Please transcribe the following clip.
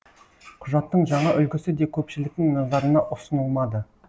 құжаттың жаңа үлгісі де көпшіліктің назарына ұсынылмады